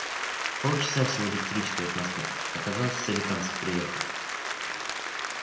полчаса всего электричкой от москвы а казалось в соликамск приехал